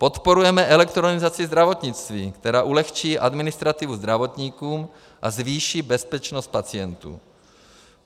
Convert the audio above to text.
Podporujeme elektronizaci zdravotnictví, která ulehčí administrativu zdravotníkům a zvýší bezpečnost pacientů.